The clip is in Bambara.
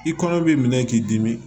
I kɔnɔ b'i minɛ k'i dimi